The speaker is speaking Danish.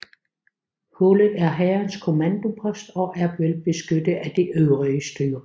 Hullet er hærens kommandopost og er velbeskyttet af de øvrige styrker